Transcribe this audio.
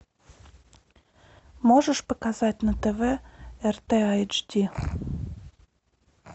можешь показать на тв рт айч ди